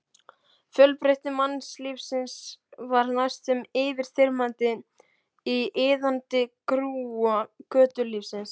Fjölbreytni mannlífsins var næstum yfirþyrmandi í iðandi grúa götulífsins.